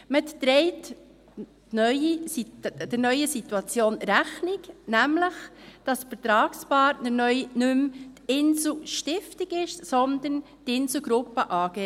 Man trägt der neuen Situation Rechnung, nämlich indem der Vertragspartner neu nicht mehr die Inselspital-Stiftung ist, sondern die Insel Gruppe AG.